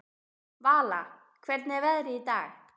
Vala, hvernig er veðrið í dag?